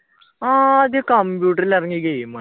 ആദ്യം കമ്പ്യൂട്ടറിൽ ഇറങ്ങിയ game ആണ്